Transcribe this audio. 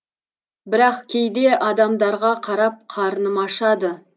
бірақ кейде адамдарға қарап қарным ашады